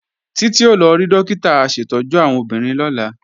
Títí ó lọ rí Dókítà aṣètọ́jú àwọn obìnrin lọ́la